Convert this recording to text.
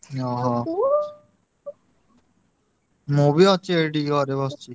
ଓହୋ, ମୁଁ ବି ଅଛି ଏଇଠି ଘରେ ବସିଚି।